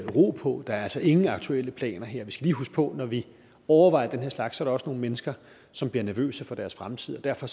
ro på der er altså ingen aktuelle planer her vi skal lige huske på at når vi overvejer den her slags der også nogle mennesker som bliver nervøse for deres fremtid og derfor